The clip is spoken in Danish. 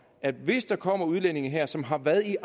at hvis der kommer udlændinge her som har været i